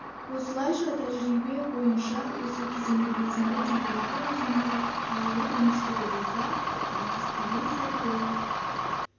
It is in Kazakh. осылайша тәжірибе бойынша осы кезеңде белсенді температура жиынтығы далалық өнгіштігі болса ал кестеге сай бұл